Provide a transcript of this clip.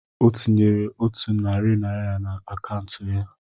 O tinyere otu narị naira na akaụntụ ya